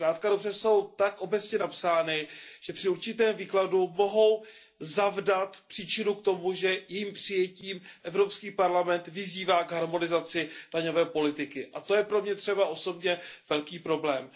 Zkrátka a dobře jsou tak obecně napsány, že při určitém výkladu mohou zavdat příčinu k tomu, že jejich přijetím Evropský parlament vyzývá k harmonizaci daňové politiky, a to je pro mě třeba osobně velký problém.